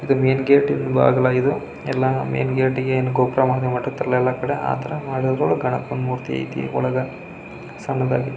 ಮತೇ ಇಲ್ಲಿ ಆ ದೇವಿಯ ಮಹಾತ್ಮೆ ಏನಂದ್ರೆ.